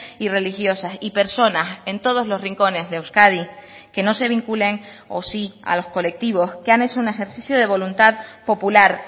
y religiosas y personas en todos los rincones de euskadi que no se vinculen o sí a los colectivos que han hecho un ejercicio de voluntad popular